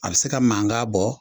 A bi se ka mankan bɔ.